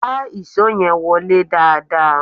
Gbá ìṣó yẹn wọlé dáadáa!